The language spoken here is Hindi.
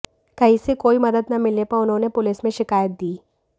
कहीं से कोई मदद न मिलने पर उन्होंने पुलिस में शिकायत दी